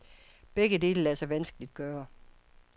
Begge dele lader sig vanskeligt gøre.